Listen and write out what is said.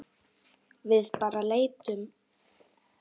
Við bara leitum.